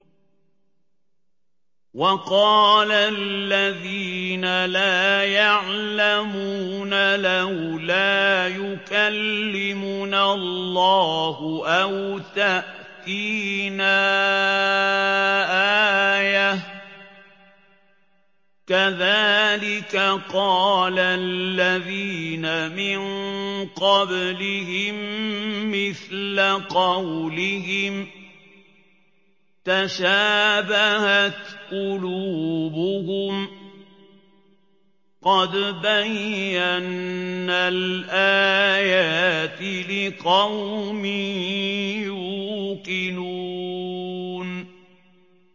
وَقَالَ الَّذِينَ لَا يَعْلَمُونَ لَوْلَا يُكَلِّمُنَا اللَّهُ أَوْ تَأْتِينَا آيَةٌ ۗ كَذَٰلِكَ قَالَ الَّذِينَ مِن قَبْلِهِم مِّثْلَ قَوْلِهِمْ ۘ تَشَابَهَتْ قُلُوبُهُمْ ۗ قَدْ بَيَّنَّا الْآيَاتِ لِقَوْمٍ يُوقِنُونَ